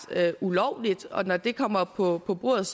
ulovligt og når det kommer på på bordet